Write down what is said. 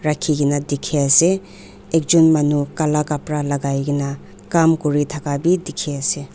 rakhikae na dikhiase ekjon manu kala kapra lakaikaena Kam kuri thaka bi dikhiase.